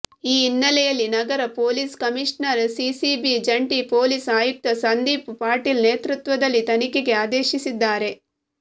ಈ ಹಿನ್ನೆಲೆಯಲ್ಲಿ ನಗರ ಪೊಲೀಸ್ ಕಮೀಷನರ್ ಸಿಸಿಬಿ ಜಂಟಿ ಪೊಲೀಸ್ ಆಯುಕ್ತ ಸಂದೀಪ್ ಪಾಟೀಲ್ ನೇತೃತ್ವದಲ್ಲಿ ತನಿಖೆಗೆ ಅದೇಶಿಸಿದ್ದಾರೆ